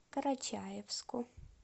карачаевску